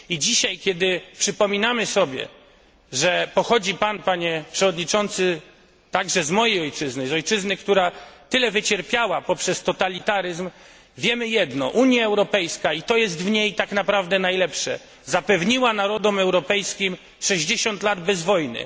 I dzisiaj, kiedy przypominamy sobie, że pochodzi pan, panie przewodniczący, także z mojej ojczyzny, z ojczyzny, która tyle wycierpiała przez totalitaryzm, wiemy jedno Unia Europejska i to jest w niej tak naprawdę najlepsze zapewniła narodom europejskim 60 lat bez wojny.